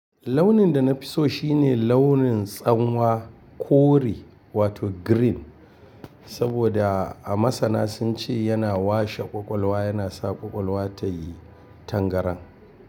Launin da na fi so shine launin tsanwa kore wato green, saboda a masana sun ce yana washe ƙwaƙwalwa yana sa ƙwaƙwalwa ta yi tangaran.